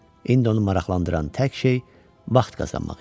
İndi onu maraqlandıran tək şey vaxt qazanmaq idi.